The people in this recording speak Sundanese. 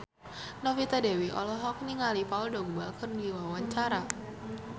Novita Dewi olohok ningali Paul Dogba keur diwawancara